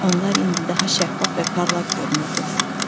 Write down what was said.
Onlar indi daha şəffaf və parlaq görünürdülər.